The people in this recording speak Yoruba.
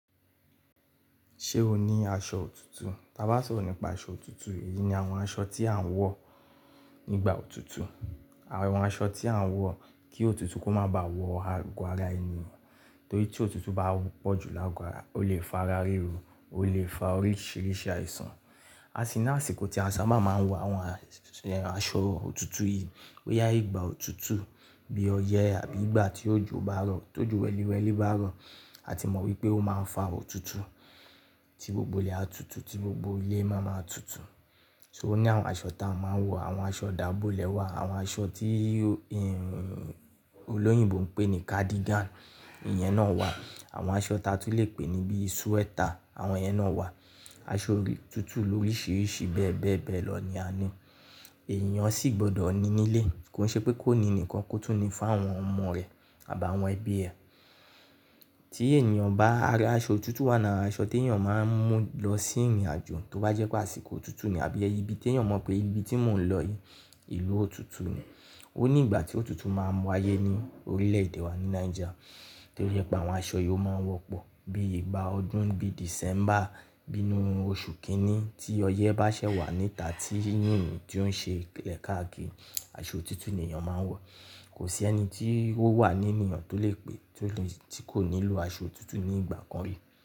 Ṣé o ní aṣọ òtútù? Taa bá sọ̀rọ̀ nípa aṣọ òtútù, èyí ni àwọn aṣọ tí à ń wọ̀ nígbà òtútù. Àwọn aṣọ tí à ń wọ̀ kí òtútù kó má bá wọ àgọ́ ara ènìyàn. Torí tí òtútù bá pọ̀ jù lágo ara, ó lè fa ara ríru, ó lè fa oríṣìíríṣìí àìsàn. A sì ní àsìkò tí a sábà máa ń wọ àwọn aṣọ òtútù yìí, boyà ìgbà òtútù bí ọyẹ́ àbí ìgbà tí òjò bá rọ̀. Tójò wẹ́lìwẹ́lì bá rọ̀, a ti mọ̀ wípé ó máa ń fa òtútù tí gbogbo ilẹ̀ á tutù, tí gbogbo ilé máa máa tutù. So ó ní àwọn aṣọ ta a máa ń wọ̀, àwọn aṣọ dàbọlẹ wà, àwọn aṣọ tí ì olóyìnbo ń pè ní cardigan, ìyẹn náà wà. Àwọn aṣọ ta a tún lè pè ní bí sweater, àwọn yẹn náà wà. Aṣọ òtútù loríṣìíríṣìí bẹ́ẹ̀ bẹ́ẹ̀ bẹ́ẹ̀ lọ ni a ní. Ènìyàn sì gbọdọ̀ ní nílé, kò ṣe pé kó ní nìkan kó tún ní fún àwọn ọmọ rẹ̀ àbá àwọn ẹbí ẹ. Tí ènìyàn bá ra aṣọ òtútù wà náà, aṣọ tí èyàn máa ń mú lọ sí ìrìnàjò, tó bá jẹ́ pé àsìkò òtútù ni àbí ibi tí èyàn mọ̀ pé ibi tí mò ń lọ yìí, ìlú òtútù ni. Ó ní ìgbà tí òtútù máa n wáyé ní orílẹ̀-èdè wa ní Niger. Torí pé àwọn aṣọ yìí ó máa ń wọ́pọ̀ bí ìgbà ọdún bí December, bínú oṣù kìíní tí ọyẹ́ bá ṣẹ̀ wà níta tí yìnyín tí ó ń ṣe ìlẹ̀kààkiì, aṣọ òtútù ni ènìyàn máa ń wọ̀. Kò sí ẹni tí ó wà ní ènìyàn tó lè pè tí kò nílò aṣọ òtútù ní ìgbà kan rí.